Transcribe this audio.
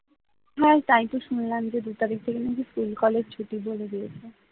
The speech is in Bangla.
হ্যাঁ তাইতো শুনলাম যে দুই তারিখ থেকে নাকি স্কুল কলেজ ছুটি বলে দিয়েছে।